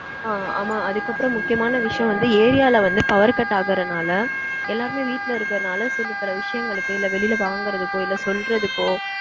ஆஹ் ஆமா அதுக்கப்பறம் முக்கியமான விஷயம் வந்து area ல வந்து power cut ஆகறதனால எல்லருமே வீட்ல இருக்கறதனால சில பல விஷயங்களுக்கு இல்ல வெளில வாங்கறதுக்கோ இல்ல சொல்றதுக்கோ